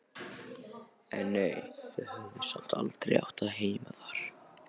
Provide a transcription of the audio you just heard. En nei, þau höfðu samt aldrei átt heima þar.